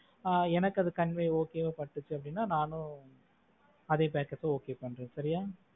ஆஹ் எனக்கு அது convey okay வா இருந்தா பட்டுச்சு நானும் அதே packers okay பண்றேன். சரியா?